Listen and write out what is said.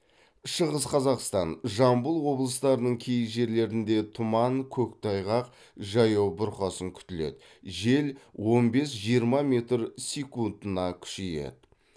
шығыс қазақстан жамбыл облыстарының кей жерлерінде тұман көктайғақ жаяу бұрқасын күтіледі жел он бес жиырма метр секундына күшейеді